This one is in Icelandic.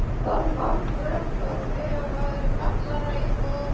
Alltaf hálfrökkur því þetta var kjallaraíbúð.